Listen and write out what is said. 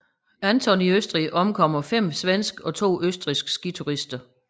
Anton i Østrig omkommer 5 svenske og to østrigske skiturister